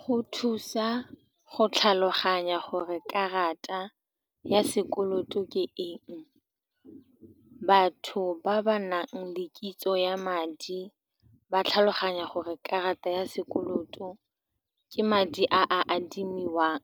Go thusa go tlhaloganya gore karata ya sekoloto ke eng, batho ba ba nang le kitso ya madi ba tlhaloganya gore karata ya sekoloto ke madi a a adimiwang,